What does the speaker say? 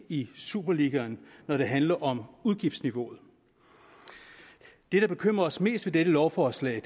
i superligaen når det handler om udgiftsniveauet det der bekymrer os mest ved dette lovforslag